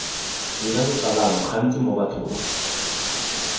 dira botsalano gantsi mo bathong